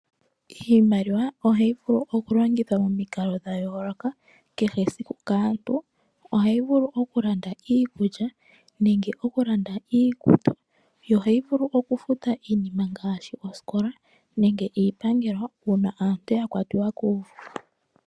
Iimaliwa ohayi vulu oku longithwa momikalo dhayooloka kehesiku kaantu. Ohayi vulu oku landa iikulya nenge okulanda iikutu yo ohayi vulu oku futa iinima ngaashi yosikola nenge iipangelo uuna aantu yakwatiwa kuuvu.